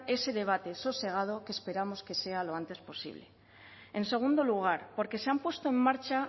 ese debate sosegado que esperamos que sea lo antes posible en segundo lugar porque se han puesto en marcha